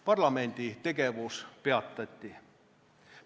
Parlamendi tegevus peatati.